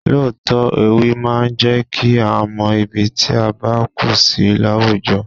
Lóòótọ́, ewì máa ń jẹ kí a mọ ibi tí a bá kù sí láwùjọ.